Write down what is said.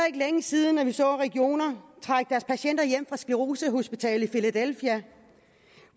ikke længe siden at vi så regioner trække deres patienter hjem fra sclerosehospitalet filadelfia